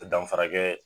Danfara kɛ